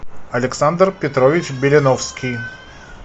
александр петрович беляновский